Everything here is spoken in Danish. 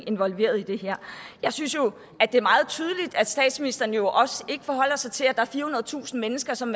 involveret i det her jeg synes jo at det er meget tydeligt at statsministeren jo ikke forholder sig til at der er firehundredetusind mennesker som